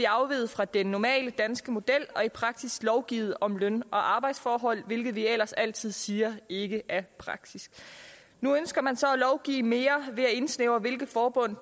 afviger vi fra den normale danske model og i praksis lovgivet om løn og arbejdsforhold hvilket vi ellers altid siger ikke er praksis nu ønsker man så at lovgive mere ved at indsnævre hvilke forbund